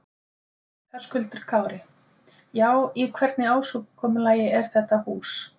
Höskuldur Kári: Já, í hvernig ásigkomulagi er þetta hús?